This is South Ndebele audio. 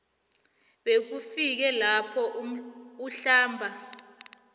bekufike lapho uhlamba